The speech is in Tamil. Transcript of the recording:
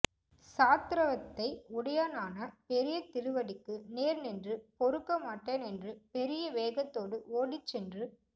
ஸாத்ரத்வத்தை உடையனான பெரிய திருவடிக்கு நேர் நின்று பொறுக்க மாட்டேன் என்று பெரிய வேகத்தோடு ஓடிச் சென்று